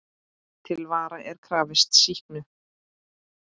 Til vara er krafist sýknu.